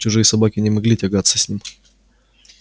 чужие собаки не могли тягаться с ним